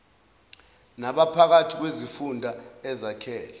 naphakathi kwezifunda ezakhele